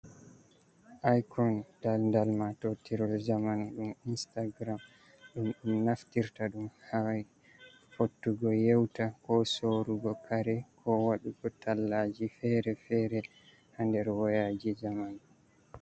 I kon daldal matotiral jaman ɗum instagram ɗum naftirta ɗum ha fottugo yeuta ko soorugo kare ko waɗugo tallaji ferefere ha nder woyaji jamanu.